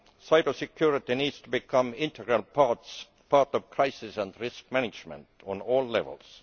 cybersecurity needs to become an integral part of crisis and risk management at all levels.